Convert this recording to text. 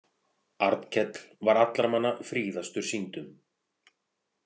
Arnkell var allra manna fríðastur sýndum.